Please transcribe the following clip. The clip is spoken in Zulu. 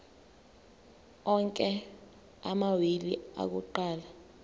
onke amawili akuqala